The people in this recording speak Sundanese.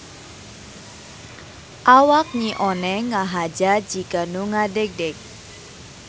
Awak Nyi Oneng ngahaja jiga nu ngadegdeg.